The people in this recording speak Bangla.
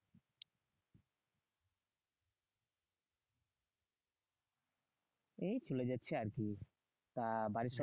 এই চলে যাচ্ছে আর কি? তা বাড়ির সব